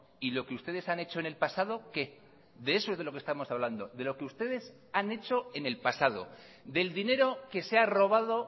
y lo que ustedes han hecho en el pasado qué de eso es de lo que estamos hablando de lo que ustedes han hecho en el pasado del dinero que se ha robado